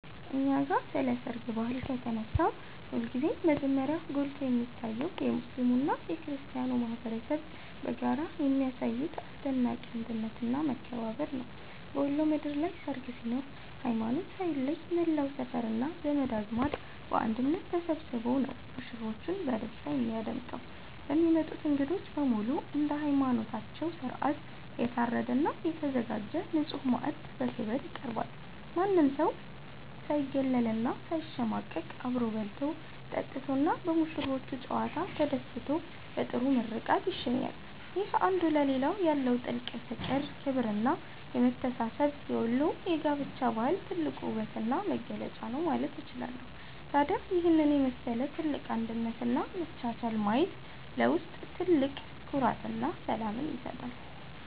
እኛ ጋ ስለ ሰርግ ባህል ከተነሳ ሁልጊዜም መጀመሪያ ጎልቶ የሚታየው የሙስሊሙና የክርስቲያኑ ማኅበረሰብ በጋራ የሚያሳዩት አስደናቂ አንድነትና መከባበር ነው። በወሎ ምድር ላይ ሰርግ ሲኖር ሃይማኖት ሳይለይ መላው ሰፈርና ዘመድ አዝማድ በአንድነት ተሰብስቦ ነው ሙሽሮችን በደስታ የሚያደምቀው። ለሚመጡት እንግዶች በሙሉ እንደየሃይማኖታቸው ሥርዓት የታረደና የተዘጋጀ ንጹሕ ማዕድ በክብር ይቀርባል። ማንም ሰው ሳይገለልና ሳይሸማቀቅ አብሮ በልቶ፣ ጠጥቶና በሙሽሮቹ ጨዋታ ተደስቶ በጥሩ ምርቃት ይሸኛል። ይህ አንዱ ለሌላው ያለው ጥልቅ ፍቅር፣ ክብርና መተሳሰብ የወሎ የጋብቻ ባህል ትልቁ ውበትና መገለጫ ነው ማለት እችላለሁ። ታዲያ ይህንን የመሰለ ትልቅ አንድነትና መቻቻል ማየት ለውስጥ ትልቅ ኩራትና ሰላምን ይሰጣል።